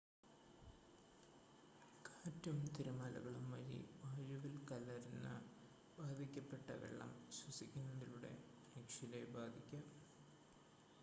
കാറ്റും തിരമാലകളും വഴി വായുവിൽ കലരുന്ന ബാധിക്കപ്പെട്ട വെള്ളം ശ്വസിക്കുന്നതിലൂടെ മനുഷ്യരെ ബാധിക്കാം